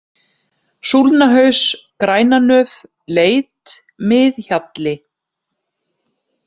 Súlnahaus, Grænanöf, Leit, Mið-Hjalli